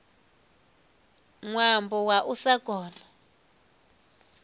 ṅwambo wa u sa kona